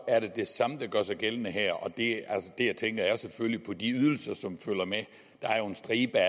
er det det samme der gør sig gældende her og der tænker jeg selvfølgelig på de ydelser som følger med der er jo en stribe